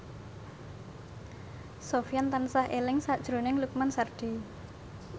Sofyan tansah eling sakjroning Lukman Sardi